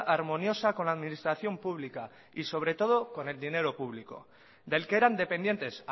armoniosa con la administración pública y sobre todo con el dinero público del que eran dependientes